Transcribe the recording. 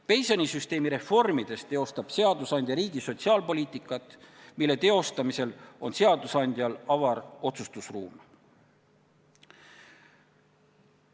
Pensionisüsteemi reformides teostab seadusandja riigi sotsiaalpoliitikat, mille teostamisel on seadusandjal avar otsustusruum.